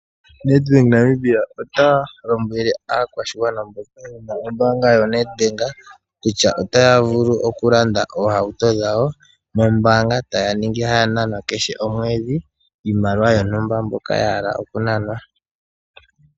Nedbank Namibia ota lombwele aakwashigwana mboka yena ombaanga yoNedbank kutya otaya vulu oku landa oohauto dhawo nombaanga. Taya ningi haya nanwa kehe komwedhi iimaliwa yontumba mbyoka ya hala oku nanwa.